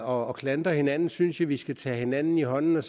og klandre hinanden synes jeg at vi skal tage hinanden i hånden